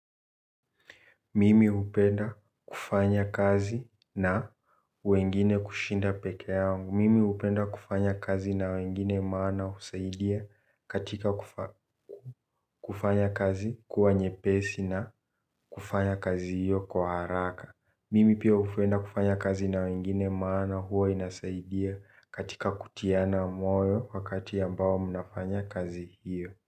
Mimi hupenda kufanya kazi na wengine kushinda peke yangu. Mimi hupenda kufanya kazi na wengine maana husaidia katika kufanya kazi kuwa nyepesi na kufanya kazi hio kwa haraka. Mimi pia hupenda kufanya kazi na wengine maana huwa inasaidia katika kutiana mwoyo wakati ambao mnafanya kazi hio.